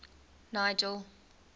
nigel